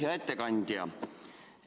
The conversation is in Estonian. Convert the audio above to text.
Hea ettekandja!